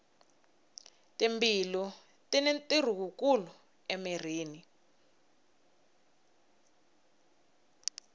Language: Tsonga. mbilu tini ntirho wu kulu emirhini